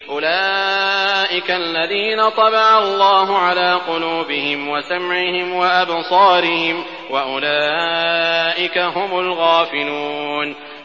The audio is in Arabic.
أُولَٰئِكَ الَّذِينَ طَبَعَ اللَّهُ عَلَىٰ قُلُوبِهِمْ وَسَمْعِهِمْ وَأَبْصَارِهِمْ ۖ وَأُولَٰئِكَ هُمُ الْغَافِلُونَ